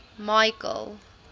michael